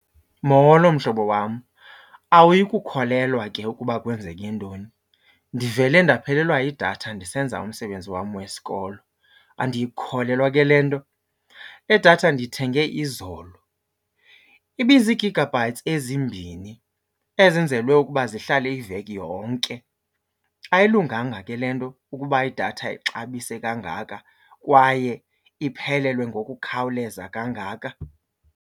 Molo mhlobo wam. Awuyi kukholelwa ke ukuba kwenzeke ntoni? Ndivele ndaphelelwa yidatha ndisenza umsebenzi wam wesikolo, andiyikholelwa ke le nto. Le datha ndiyithenge izolo, ibizii-gigabytes ezimbini ezenzelwe ukuba zihlale iveki yonke. Ayilunganga ke le nto ukuba idatha ixabise kangaka kwaye iphelelwe ngokukhawuleza kangaka.